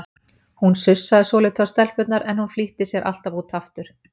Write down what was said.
Hún sussaði svolítið á stelpurnar, en hún flýtti sér alltaf út aftur.